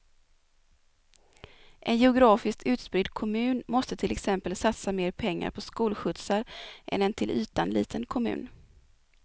En geografiskt utspridd kommun måste till exempel satsa mer pengar på skolskjutsar än en till ytan liten kommun.